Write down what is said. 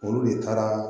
Olu de taara